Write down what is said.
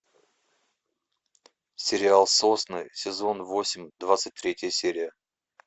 сериал сосны сезон восемь двадцать третья серия